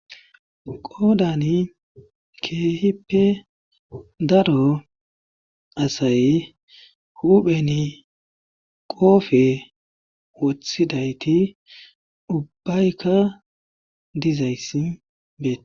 Qoodani keehippe daro asay huupheni qoofe wothidayti ubbayka dizayti beett.